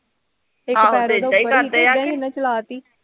ਆਹੋ ਤੇ ਇਦਾਂ ਈ ਕਰਦੇ ਆ ਕਿ